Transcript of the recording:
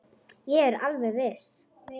Ég er alveg viss.